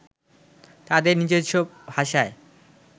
তাঁদের নিজস্ব ভাষায়